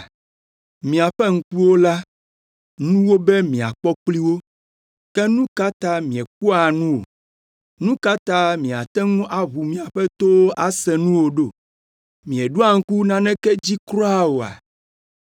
Miaƒe ŋkuwo la, nu wobe miakpɔ kpli wo, ke nu ka ta miekpɔa nu o? Nu ka ta miate ŋu aʋu miaƒe towo ase nu o ɖo? Mieɖo ŋku naneke dzi kura oa?